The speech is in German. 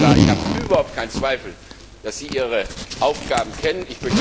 Herr Kommissar, ich habe überhaupt keinen Zweifel, dass Sie Ihre Aufgaben kennen.